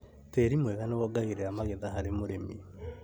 Tĩri mwega nĩwongagĩrĩra magetha harĩ mũrĩmi